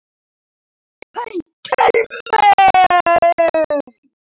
Beint til mín!